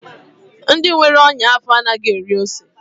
Ndị nwere ọnya afọ anaghị eri ose.